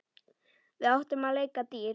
Við áttum að leika dýr.